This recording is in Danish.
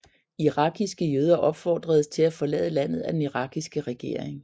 Irakiske jøder opfordredes til at forlade landet af den irakiske regering